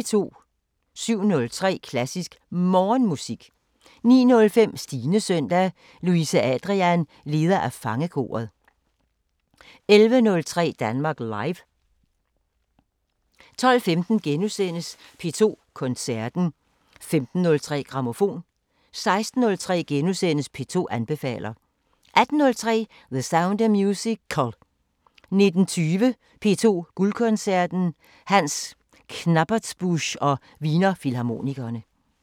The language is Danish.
07:03: Klassisk Morgenmusik 09:05: Stines søndag – Louise Adrian, leder af Fangekoret 11:03: Danmark Live 12:15: P2 Koncerten * 15:03: Grammofon 16:03: P2 anbefaler * 18:03: The Sound of Musical 19:20: P2 Guldkoncerten: Hans Knappertsbusch og Wiener Filharmonikerne